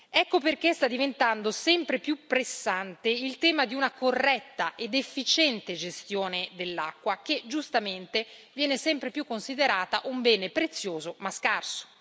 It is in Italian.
Ecco perché sta diventando sempre più pressante il tema di una corretta ed efficiente gestione dell'acqua, che giustamente viene sempre più considerata un bene prezioso ma scarso.